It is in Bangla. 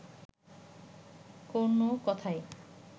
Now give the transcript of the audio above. কোন কথাই